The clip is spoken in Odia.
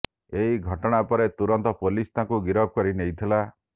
ଏହି ଘଟଣା ପରେ ତୁରନ୍ତ ପୋଲିସ ତାଙ୍କୁ ଗିରଫ କରି ନେଇଥିଲା